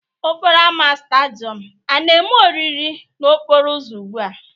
Ọ kpọrọ ámá stádịọm a na-eme oriri n'okporo ụzọ ugbu a?